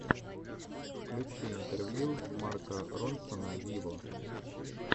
включи интервью марка ронсона виво